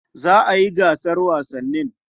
Za a yi gasar wasannin.